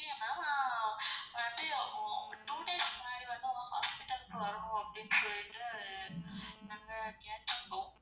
Okay ma'am வந்து அப்போ two days முன்னாடி வந்து உங்க hospital க்கு வருவோம். அப்டினு சொல்லிட்டு நாங்க கேட்டுருந்தோம்.